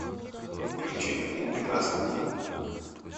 включи один прекрасный день